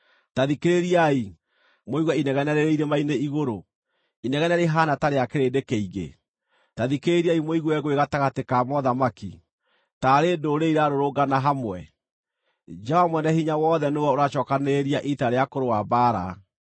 Ta thikĩrĩriai, mũigue inegene rĩrĩ irĩma-inĩ igũrũ, inegene rĩhaana ta rĩa kĩrĩndĩ kĩingĩ! Ta thikĩrĩriai mũigue ngũĩ gatagatĩ ka mothamaki, taarĩ ndũrĩrĩ irarũrũngana hamwe! Jehova Mwene-Hinya-Wothe nĩwe ũracookanĩrĩria ita rĩa kũrũa mbaara.